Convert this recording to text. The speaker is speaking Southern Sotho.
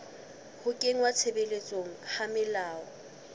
ho kenngwa tshebetsong ha melao